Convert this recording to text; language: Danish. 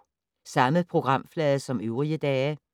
Samme programflade som øvrige dage